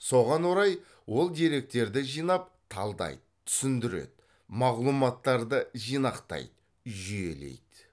соған орай ол деректерді жинап талдайды түсіндіреді мағлұматтарды жинақтайды жүйелейді